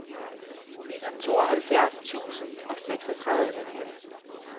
tooghalvfjerds tusind og seksogtredive